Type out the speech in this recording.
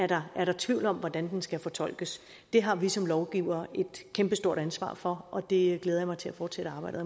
der er tvivl om hvordan den skal fortolkes det har vi som lovgivere et kæmpestort ansvar for og det glæder jeg mig til at fortsætte arbejdet